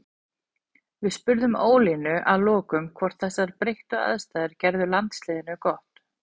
Við spurðum Ólínu að lokum hvort að þessar breyttu aðstæður gerðu landsliðinu gott.